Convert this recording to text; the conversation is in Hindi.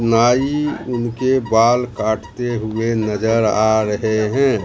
नाई उनके बाल काटते हुए नजर आ रहे हैं।